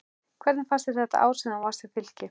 Hvernig fannst þér þetta ár sem þú varst hjá Fylki?